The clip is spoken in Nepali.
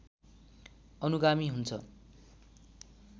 अनुगामी हुन्छ